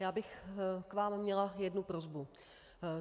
Já bych k vám měla jednu prosbu.